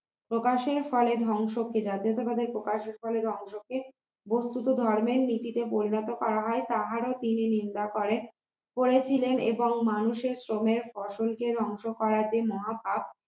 প্রকাশের ফলে ধ্বংসকে জাতীয়তাবাদ প্রকাশের ফলে ধ্বংসকে বস্তুত ধর্মের নীতিতে পরিণত করা হয় তাহারো তিনি নিন্দা করেন করেছিলেন এবং মানুষের শ্রমের ফসলকে ধ্বংস করা যে মহাপাপ